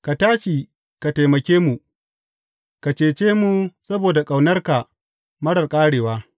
Ka tashi ka taimake mu; ka cece mu saboda ƙaunarka marar ƙarewa.